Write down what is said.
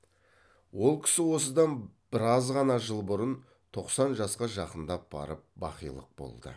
ол кісі осыдан біраз ғана жыл бұрын тоқсан жасқа жақындап барып бақилық болды